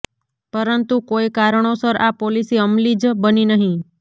પરંતુ કોઈ કારણોસર આ પોલિસી અમલી જ બની નહીં